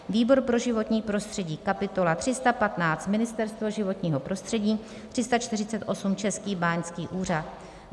výbor pro životní prostředí: kapitola 315 - Ministerstvo životního prostředí, 348 - Český báňský úřad,